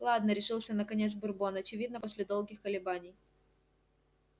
ладно решился наконец бурбон очевидно после долгих колебаний